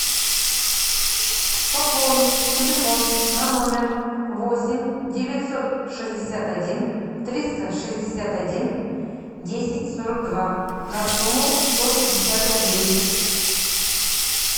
пополнить телефон на номер восемь девятьсот шестьдесят один триста шестьдесят один десять сорок два на сумму сто пятьдесят рублей